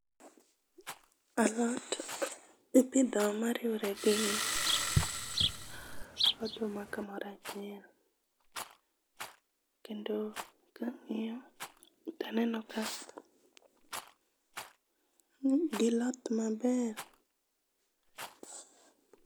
Alot ipidho moriwore gi oduma kamoro achiel. Kendo ka ang'iyo to aneno ka giloth maber.